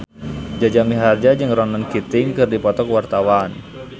Jaja Mihardja jeung Ronan Keating keur dipoto ku wartawan